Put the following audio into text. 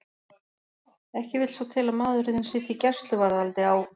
Ekki vill svo til að maðurinn þinn sitji í gæsluvarðhaldi á